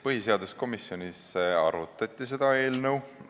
Põhiseaduskomisjonis arutati seda eelnõu.